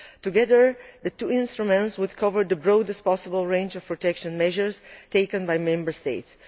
Together the two instruments will cover the broadest possible range of protection measures taken by Member States.